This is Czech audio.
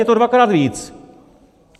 Je to dvakrát víc.